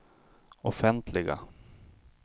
offentliga